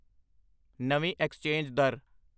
ਨਵੀਂ ਐਕਸਚੇਂਜ ਦਰ